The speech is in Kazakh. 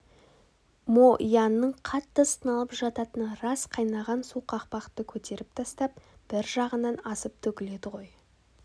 мо янның қатты сыналып жататыны рас қайнаған су қақпақты көтеріп тастап бір жағынан асып төгіледі ғой